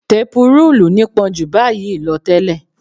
Tepurúùlù nípọn jù báyìí lọ tẹ́lẹ̀